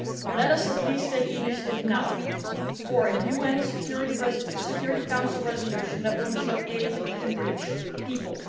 Let us at least take the initiative now for a UN Security Council resolution that will ensure that aid can reach people.